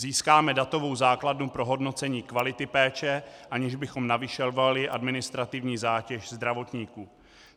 Získáme datovou základnu pro hodnocení kvality péče, aniž bychom navyšovali administrativní zátěž zdravotníků.